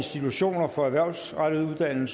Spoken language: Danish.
tredive hverken